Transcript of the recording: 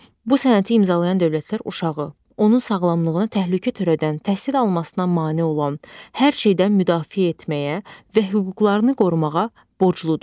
Bu sənəti imzalayan dövlətlər uşağı, onun sağlamlığına təhlükə törədən, təhsil almasına mane olan hər şeydən müdafiə etməyə və hüquqlarını qorumağa borcludur.